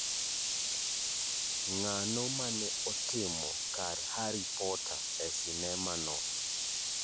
Ng'ano mane otimo kar Harry Potter e sinema no